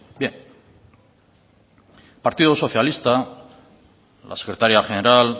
partido socialista la secretaria general